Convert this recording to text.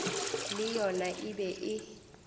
le yona e be e